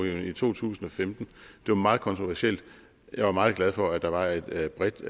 i to tusind og femten det var meget kontroversielt jeg var meget glad for at der var et bredt